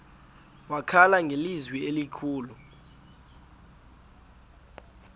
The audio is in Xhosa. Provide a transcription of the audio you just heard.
wakhala ngelizwi elikhulu